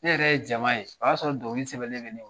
Ne yɛrɛ ye jama ye, o y'a sɔrɔ dɔnkili sɛbɛnnen bɛ ne bolo.